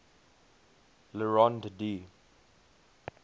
le rond d